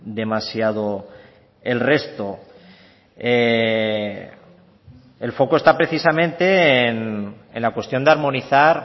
demasiado el resto el foco está precisamente en la cuestión de armonizar